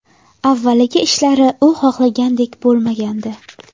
Avvaliga ishlari u xohlagandek bo‘lmagandi.